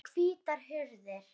Það eru hvítar hurðir.